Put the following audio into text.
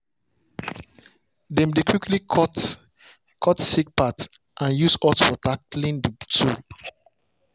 dem dey quickly cut cut sick part and use hot water clean the tool.